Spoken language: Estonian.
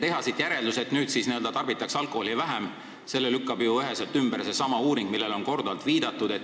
Järelduse, et nüüd tarbitakse alkoholi vähem, lükkab üheselt ümber seesama uuring, millele on korduvalt viidatud.